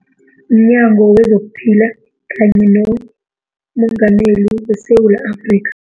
MNyango wezokuPhila kanye nomengameli weSewula Afrikha.